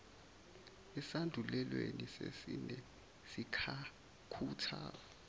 esandulelweni sesine sikhuthaza